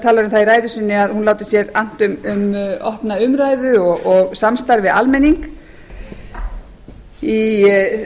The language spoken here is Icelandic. það í ræðu sinni að hún láti sér annt um opna umræðu og samstarf við almenning í